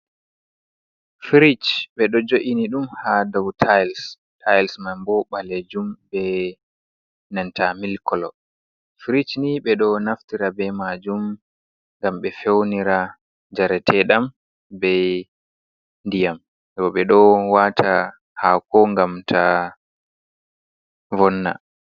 Firich ɓe ɗo jo’ini ɗum ha dau tils tiles man bo bale jum, be nanta milkolo firich ni ɓeɗo naftira be majum gam ɓe feunira jareteɗam be diyam bo, ɓe ɗo wata hako gam ta vonna.